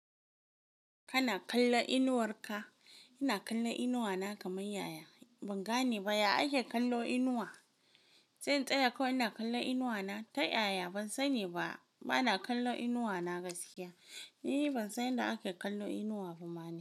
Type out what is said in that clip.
Kana kalla inuwar ka? Ina kalla inuwa na kamar yaya. Ban gane ba ya ake kallo inuwa. Sai tsaya kawai ina kalla inuwa na ta yaya. Ban sani ba, bana kalla inuwa na gaskiya. Ni ban san yadda ake kallo inuwa ba ma na.